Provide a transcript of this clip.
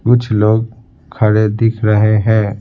कुछ लोग खड़े दिख रहे हैं।